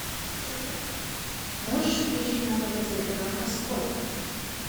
можешь включить на тв телеканал морской